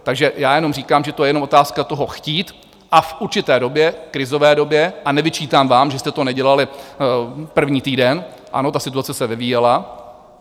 Takže já jenom říkám, že to je jenom otázka toho chtít, a v určité době, krizové době, a nevyčítám vám, že jste to nedělali první týden, ano, ta situace se vyvíjela.